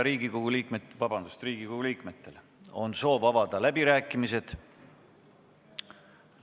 Kas Riigikogu liikmetel on soov avada läbirääkimised?